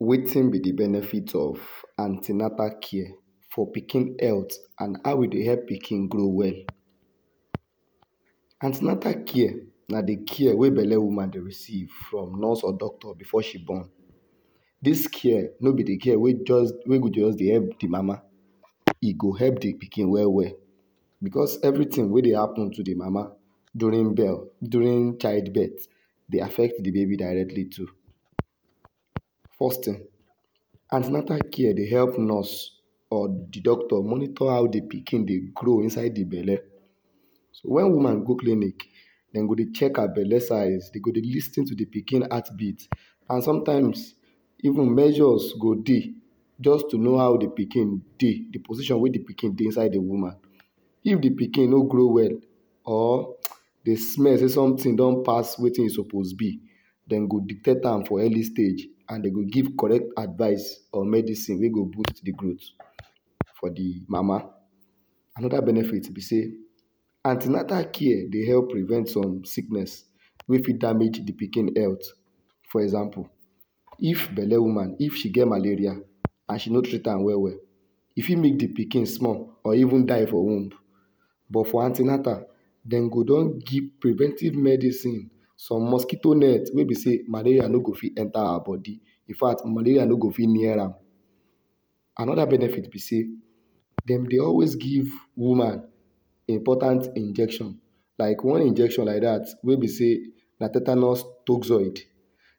Wetin be di benefit of an ten atal care for pikin health and how e dey help pikin grow well? An ten atal care na di care wey belle woman dey receive from nurse or doctor before she born. Dis care no be di care wey just, wey go just dey help di mama, e go help di pikin well well, becos everytin wey dey happen to di mama during during childbirth dey affect di baby directly too. First tin, an ten atal care dey help nurse or di doctor monitor how di pikin dey grow inside di belle. So wen woman go clinic, dem go dey check her belle size, dem go dey lis ten to di pikin heartbeat. And sometimes, even measures go dey just to know how di pikin dey, di position wey di pikin dey inside di woman. If di pikin no grow well or dem smell sey sometin don pass wetin e suppose be, dem go detect am for early stage and dem go give correct advice or medicine wey go boost di growth for di mama. Anoda benefit be sey, an ten atal care dey help prevent some sickness wey fit damage di pikin health. For example, if belle woman, if she get malaria and she no treat am well well, e fit make di pikin small or even die for womb. But for an ten atal, dem go don give preventive medicine, some mosquito net wey be sey malaria no go fit enta her bodi, infact malaria no go fit near am. Anoda benefit be sey, dem dey always give woman important injection, like one injection like dat wey be sey na tetanus toxoid.